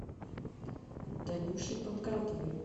танюшей панкратовой